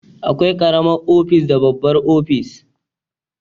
Akwai karamar ofis da babbar ofis